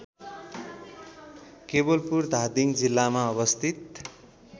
केवलपुर धादिङ जिल्लामा अवस्थित